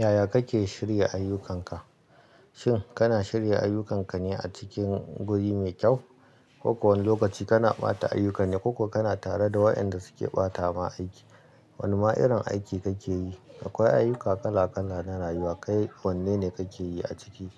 Yaya kake shirya ayyukanka? Shin kana shirya ayyukanka ne a cikin guri mai kyau? Ko kowane lokaci kana ɓata ayyukan ne, ko kana tare da waɗanda suke ɓata ma aiki? Wane ma irin aiki kake yi? Akwai ayyuka kala kala na rayuwa, kai wanne ne kake yi a ciki?